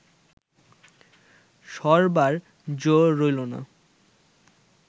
সরবার জো রইল না